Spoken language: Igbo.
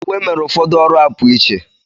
Uwe mere ụfọdụ ọrụ a pụọ iche.